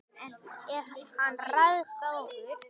En ef hann ræðst á okkur?